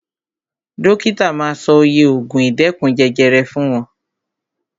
Dókítà ma sọ oye ògùn ìdẹ́kun jẹjẹrẹ fún wọn.